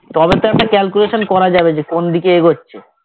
তবে তো একটা calculation করা যাবে যে কোনদিকে এগোচ্ছে